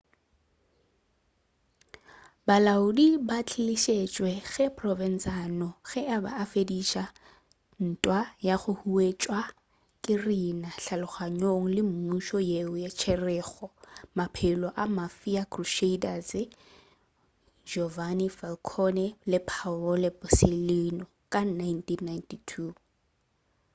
balaodi ba ba tlišitšwe ke provenzano ge a be afediša ntwa ya go huwetšwa ke riina kgahlanong le mmušo yeo e tšerego maphelo a mafia crusaders giovanni falcone le paolo borsellino ka 1992